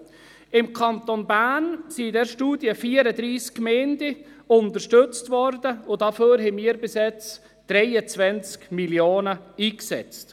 In der Studie ist von 34 Gemeinden des Kantons Bern die Rede, die unterstützt worden sind, und dafür setzten wir bisher 23 Mio. Franken ein.